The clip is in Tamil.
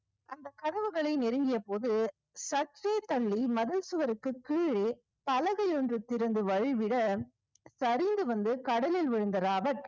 அந்தக் கதவுகளை நெருங்கிய போது சற்றே தள்ளி மதில் சுவருக்குக் கீழே பலகை ஒன்று திறந்து வழிவிட சரிந்து வந்து கடலில் விழுந்த ராபர்ட்